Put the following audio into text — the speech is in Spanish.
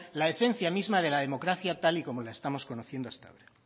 la esencia misma de la democracia tal y como los estamos conociendo hasta ahora